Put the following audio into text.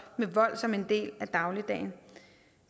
med vold som en del af dagligdagen